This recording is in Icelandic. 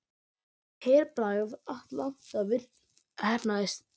Herbragð Atlanta heppnaðist